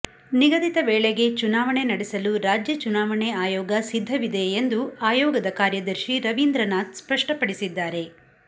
ನಿಗದಿತ ವೇಳೆಗೆ ಚುನಾವಣೆ ನಡೆಸಲು ರಾಜ್ಯ ಚುನಾವಣೆ ಆಯೋಗ ಸಿದ್ಧವಿದೆ ಎಂದು ಆಯೋಗದ ಕಾರ್ಯದರ್ಶಿ ರವೀಂದ್ರನಾಥ್ ಸ್ಪಷ್ಟಪಡಿಸಿದ್ದಾರೆ